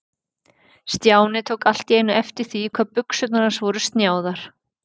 Stjáni tók allt í einu eftir því hvað buxurnar hans voru snjáðar.